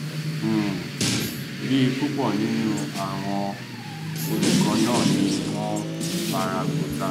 um bẹẹ púpọ nínú àwọn olùkọ náà ni wọn fara gbọta